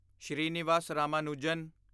Srinivas Ramanujan